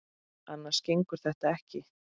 Annars gengur þetta ekki.